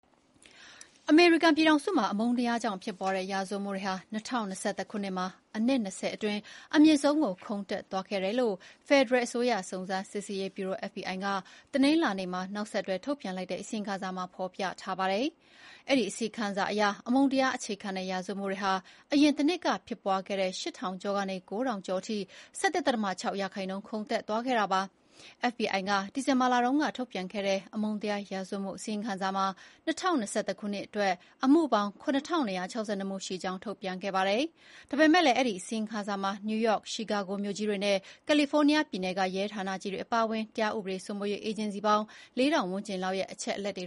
အမေရိကန်ပြည်ထောင်စုမှာ အမုန်းတရားကြောင့်ဖြစ်ပွားတဲ့ ရာဇဝတ်မှု Hate Crime တွေဟာ ၂၀၂၁ ခုနှစ်မှာ အနှစ် ၂၀ အတွင်း အမြင့်ဆုံးကို ခုန်တက်သွားခဲ့တယ်လို့ ဖယ်ဒရယ်အစိုးရ စုံစမ်းရေးဗျူရို FBI က တနင်္လာနေ့မှာ နောက်ဆက်တွဲထုတ်ပြန်တဲ့အစီရင်ခံစာမှာ ဖော်ပြထားပါတယ်။ အဲဒီအစီရင်ခံစာအရ အမုန်းတရားအခြေခံတဲ့ရာဇဝတ်မှုတွေဟာ အရင်တနှစ်က ဖြစ်ပွားခဲ့တဲ့ ၈,၁၂၀ မှု ကနေ ၉,၀၆၅ မှု ကို ၁၁.၆ ရာခိုင်နှုန်း ခုန်တက်သွားခဲ့တာပါ။ FBI က ဒီဇင်ဘာလတုန်းကထုတ်ပြန်တဲ့ အမုန်းတရားရာဇဝတ်မှုအစီရင်ခံစာမှာ ၂၀၂၁ ခုနှစ်အတွက် အမှုပေါင်း ၇,၂၆၂ လို့ ထုတ်ပြန်ခဲ့တာပါ။ ဒါပေမယ့် အဲဒီ အစီရင်ခံစာမှာ နယူးယောက်၊ ရှီကာဂို မြို့ကြီးတွေနဲ့ ကယ်လီဖိုးနီးယား ပြည်နယ်က ရဲဌာနကြီးတွေအပါအဝင် တရားဥပဒေစိုးမိုးရေးအေဂျင်စီ ပေါင်း ၄,၀၀၀ ဝန်းကျင်လောက်ရဲ့ အချက်အလက်တွေ